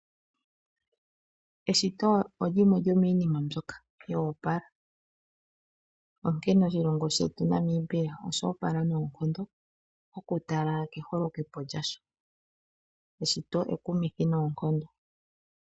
Eshito olyimwe lyomiinima mbyoka yo opala. Onkene oshilongo shetu Namibia osho opala noonkondo, oku tala keholokepo lyasho. Eshito ekumithi noonkondo.